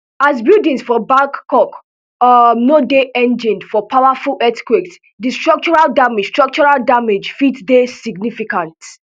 as buildings for bangkok um no dey engineered for powerful earthquakes di structural damage structural damage fit dey significant